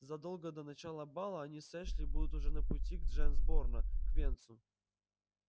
задолго до начала бала они с эшли будут уже на пути к джонсборо к венцу